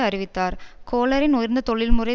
அறிவித்தார் கோலரின் உயர்ந்த தொழில் முறை